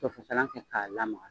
To fasalan kɛ k'a lamaka.